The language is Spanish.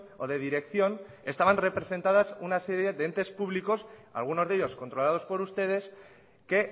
o de dirección estaban representadas una serie de entes públicos algunos de ellos controlados por ustedes que